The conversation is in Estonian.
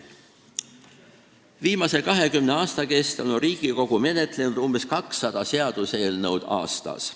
Viimase 20 aasta kestel on Riigikogu menetlenud umbes 200 seaduseelnõu aastas.